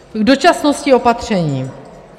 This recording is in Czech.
K dočasnosti opatření.